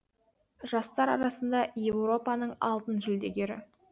жастар арасында еуропаның алтын жүлдегері